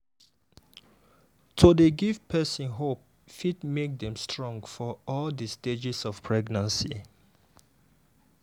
to dey give person hope fit make dem strong for all di stages of pregnancy.